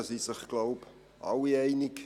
Darüber sind sich wohl alle einig.